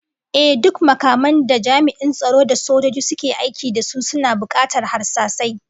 Ehh, duk makaman da jami'an tsaro da sojoji suke aiki da su suna bukatar harsasai